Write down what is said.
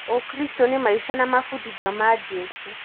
Ũkristo nĩ maica na mabudithio ma Jesu.